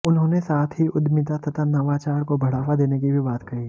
उन्होंने साथ ही उद्यमिता तथा नवाचार को बढ़ावा देने की भी बात कही